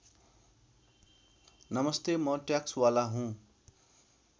नमस्ते म ट्याक्सवाला हूँ